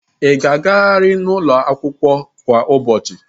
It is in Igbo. Ị ga-agarịrị ụlọ akwụkwọ kwa ụbọchị!